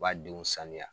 B'a denw sanuya